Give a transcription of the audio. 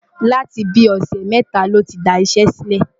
láti bí i ọ̀sẹ̀ mẹ́ta ló ti daṣẹ́ sílẹ̀.